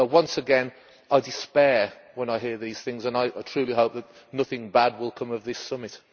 So, once again, I despair when I hear these things, and I truly hope that nothing bad will come of this summit.